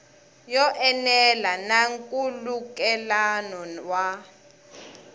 yo enela na nkhulukelano wa